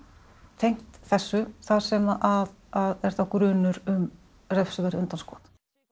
tengt þessu þar sem að er þá grunur um refsiverð undanskot